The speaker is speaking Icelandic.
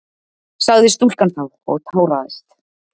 sagði stúlkan þá og táraðist.